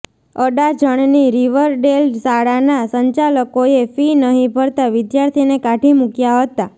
અડાજણની Riverdale શાળાના સંચાલકોએ fee નહીં ભરતા વિધાર્થીને કાઢી મુક્યા હતા